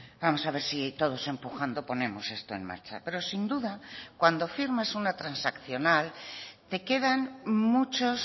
vamos a ver si todos empujando ponemos esto en marcha pero sin duda cuando firmas una transaccional te quedan muchos